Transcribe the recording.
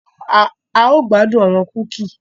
A yoo gbadun awọn kuki.